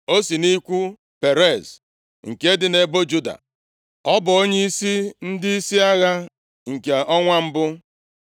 O si nʼikwu Perez nke dị nʼebo Juda, ọ bụ onyeisi ndịisi agha nke ọnwa mbụ.